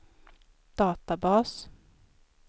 databas